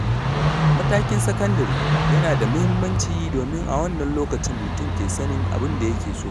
Matakin sakandare yana da muhimmanci domin a wannan lokacin mutum ke sanin abin da yake so.